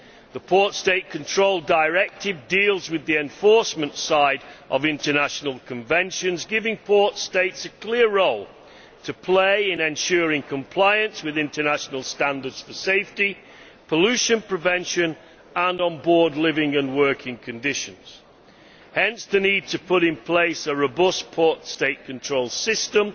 The Port State Control Directive deals with the enforcement side of international conventions, giving port States a clear role to play in ensuring compliance with international standards for safety, pollution prevention and on board living and working conditions hence the need to put in place a robust port State control system